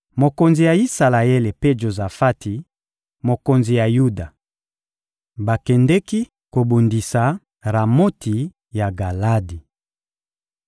Mokonzi ya Isalaele mpe Jozafati, mokonzi ya Yuda, bakendeki kobundisa Ramoti ya Galadi.